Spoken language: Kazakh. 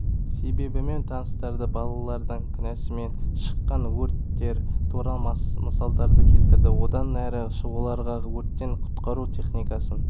себебімен таныстырды балалардың күнәсімен шыққан өрттер туралы мысалдарды келтірді одан әрі оларға өрттен құтқару техникасын